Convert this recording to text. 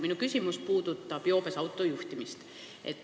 Minu küsimus puudutab joobes autojuhtimist.